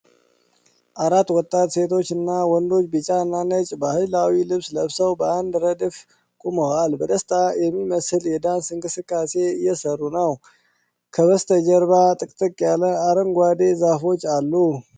አራት ወጣት ሴቶችና ወንዶች ቢጫና ነጭ ባህላዊ ልብስ ለብሰው በአንድ ረድፍ ቆመዋል። በደስታ የሚመስል የዳንስ እንቅስቃሴ እየሠሩ ነው። ከበስተጀርባ ጥቅጥቅ ያለ አረንጓዴ ዛፎች አሉ።